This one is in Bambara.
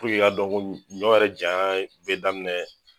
i k'a dɔn ko ɲɔ yɛrɛ janya bɛ daminɛ.